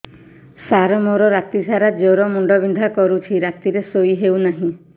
ସାର ମୋର ରାତି ସାରା ଜ୍ଵର ମୁଣ୍ଡ ବିନ୍ଧା କରୁଛି ରାତିରେ ଶୋଇ ହେଉ ନାହିଁ